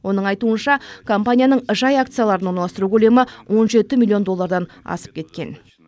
оның айтуынша компанияның жай акцияларын орналастыру көлемі он жеті миллион доллардан асып кеткен